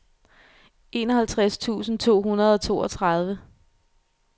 enoghalvtreds tusind to hundrede og toogtredive